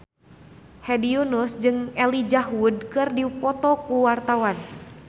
Hedi Yunus jeung Elijah Wood keur dipoto ku wartawan